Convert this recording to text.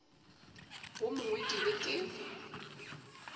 wo mongwe ke be ke